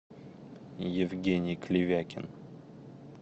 евгений клевякин